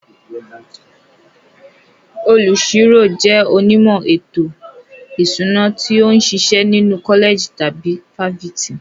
Olùṣirò jẹ́ onímọ̀ ètò ìṣúná tó ń ṣiṣẹ́ nínú kọ́lẹ̀jì tàbí fáfitì.